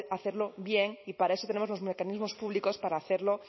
saber hacerlo bien y para eso tenemos los mecanismos públicos para hacerlo